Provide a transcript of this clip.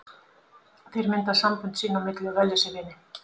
Þeir mynda sambönd sín á milli og velja sér vini.